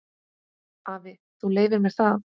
Afi, þú leyfir mér það.